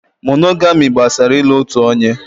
Mónógamị́ gbasara ị́lu otu onye.